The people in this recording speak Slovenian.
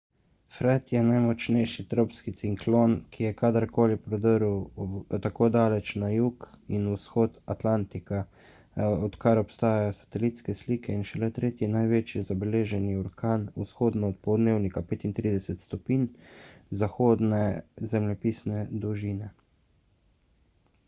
fred je najmočnejši tropski ciklon ki je kadar koli prodrl tako daleč na jug in vzhod atlantika odkar obstajajo satelitske slike in šele tretji največji zabeleženi orkan vzhodno od poldnevnika 35° zahodne zemljepisne dolžine